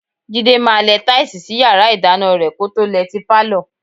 Jídé máa lẹ táìsì sí yàrá ìdáná rẹ kó tó lẹ ti pálọ̀.